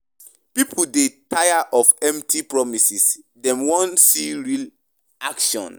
Pipo dey tire of empty promises; dem wan see real action.